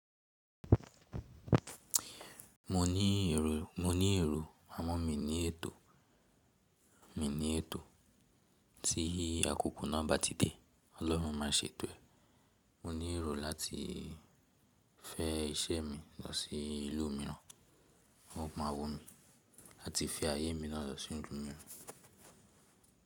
Mo ní èrò, àwọn mi ní ètò, mi ní ètò tí akoko náà bá ti dé Ọlọ́run máa ṣe eto ẹ́. Mo ní èrò láti fẹ́ iṣẹ́ mi lọ sí ìlú míràn, wọn ó máa wò mi láti fi ayé mi náà lọ sí ìlú míràn.